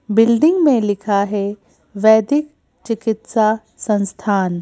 building में लिखा है वैदिक चिकित्सा संस्थान --